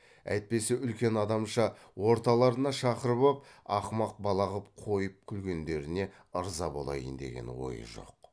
әйтпесе үлкен адамша орталарына шақырып ап ақымақ бала қып қойып күлгендеріне ырза болайын деген ойы жоқ